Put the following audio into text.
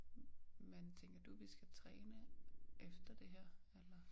Men tænker du vi skal træne efter det her eller?